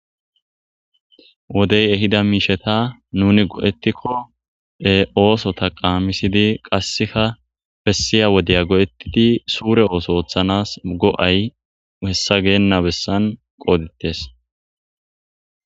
wodey ehida miisheta nuni go7ettikko e ooso taqamisidi qasseka bessiya wodeya go7ettidi suure ooso oothanas go7ay hessa geenna bessan qoodittes